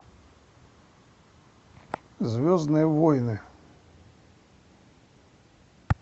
звездные войны